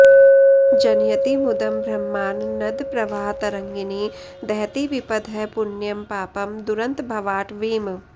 जनयति मुदं ब्रह्मानन्दप्रवाहतरङ्गिणीं दहति विपदः पुण्यं पापं दुरन्तभवाटवीम्